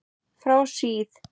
Frá síð